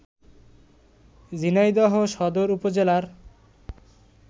ঝিনাইদহ সদর উপজেলার